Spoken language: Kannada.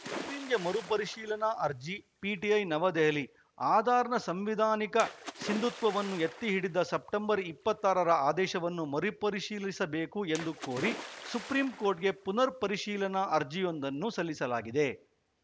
ಸುಪ್ರೀಂಗೆ ಮರುಪರಿಶೀಲನಾ ಅರ್ಜಿ ಪಿಟಿಐ ನವದೆಹಲಿ ಆಧಾರ್‌ನ ಸಂವಿಧಾನಿಕ ಸಿಂಧುತ್ವವನ್ನು ಎತ್ತಿಹಿಡಿದ ಸೆಪ್ಟೆಂಬರ್ ಇಪ್ಪತ್ತ್ ಆರರ ಆದೇಶವನ್ನು ಮರುಪರಿಶೀಲೀಸಬೇಕು ಎಂದು ಕೋರಿ ಸುಪ್ರೀಂಕೋರ್ಟ್‌ಗೆ ಪುನರ್‌ಪರಿಶೀಲನಾ ಅರ್ಜಿಯೊಂದನ್ನು ಸಲ್ಲಿಸಲಾಗಿದೆ